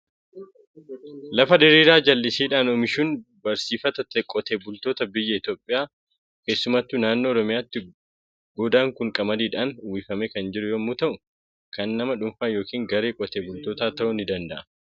Lafa diriiraa jallisiidhaan oomishuun barsiifata qotee bultoota biyya Itoophiyaa, keessumattuu naannoo Oromiyaati. Goodaan kun qamadiidhaan uwwifamee kan jiru yommuu ta'u, kan nama dhuunfaa yookiin garee qotee bultootaa ta'uu ni danda'a.